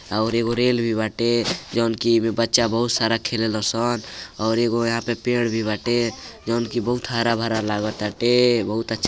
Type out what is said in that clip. और एगो रेल भी बाटे जौन की ऐमे बच्चा बहुत सारा खेले ल सन और एगो यहां पे पेड़ भी बाटे। जौन की बहुत हारा भरा लाग ताटे। बहुत अच्छा --